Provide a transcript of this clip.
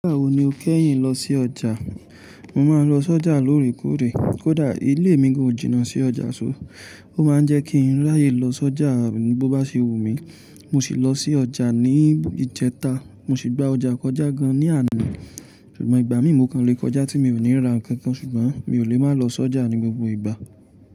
Nígbà wo ni o kẹ́yìn lọ sí ọjà? Mo máa ń lọ s'ọjà lóòrèkóòrè. Kódà ilé mi ko jìnnà sí ọjà ṣó, ó máa ń jẹ́ kí n ráyè lọ s'ọjà mi bo bá ṣe wù mí. Mo sì lọ sí ọjà ní ìjẹta. Mo sì gba ọjà kọjá gan ní àná, ṣùgbọ́n ìgbà míi mo kan lé kọjá tí mi ò ní ra nǹkan kan. Ṣùgbọ́n mi ò lè máa lọ s'ọjà ní gbogbo ìgbà.